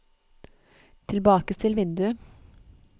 tilbakestill vindu